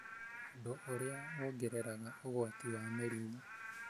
ũndũ ũrĩa wongereraga ũgwati wa mĩrimũ.